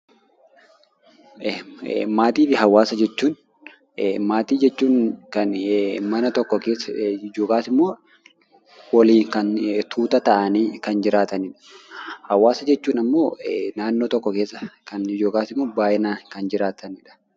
Maatiifi hawaasa jechuun, maatii jechuun kan mana tokko keessa yookaasimmoo waliin kan tuuta ta'anii kan jiraatanidha. Hawaasa jechuun ammoo naannoo tokko keessa kan yookaasimmoo baayyinaan kan jiraatanidha.